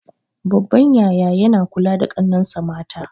Babban yaya yana kula da ƙannensa mata